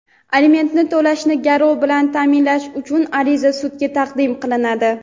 Alimentni to‘lashni garov bilan taʼminlash uchun ariza sudga taqdim qilinadi.